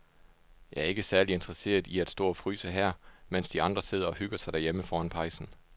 Jeg er ikke særlig interesseret i at stå og fryse her, mens de andre sidder og hygger sig derhjemme foran pejsen.